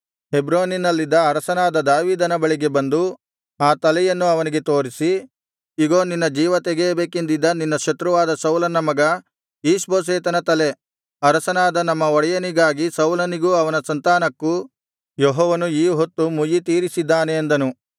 ಹೆಬ್ರೋನಿನಲ್ಲಿದ್ದ ಅರಸನಾದ ದಾವೀದನ ಬಳಿಗೆ ಬಂದು ಆ ತಲೆಯನ್ನು ಅವನಿಗೆ ತೋರಿಸಿ ಇಗೋ ನಿನ್ನ ಜೀವತೆಗೆಯಬೇಕೆಂದಿದ್ದ ನಿನ್ನ ಶತ್ರುವಾದ ಸೌಲನ ಮಗ ಈಷ್ಬೋಶೆತನ ತಲೆ ಅರಸನಾದ ನಮ್ಮ ಒಡೆಯನಿಗಾಗಿ ಸೌಲನಿಗೂ ಅವನ ಸಂತಾನಕ್ಕೂ ಯೆಹೋವನು ಈ ಹೊತ್ತು ಮುಯ್ಯಿ ತೀರಿಸಿದ್ದಾನೆ ಅಂದನು